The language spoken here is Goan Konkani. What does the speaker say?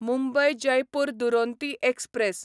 मुंबय जयपूर दुरोंतो एक्सप्रॅस